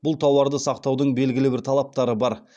бұл тауарды сақтаудың белгілі бір талаптары бар